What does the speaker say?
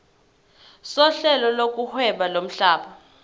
sohlelo lokuhweba lomhlaba